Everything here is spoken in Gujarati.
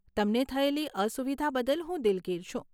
તમને થયેલી અસુવિધા બદલ હું દિલગીર છું.